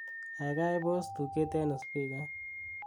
gaigai pos tuget en spikait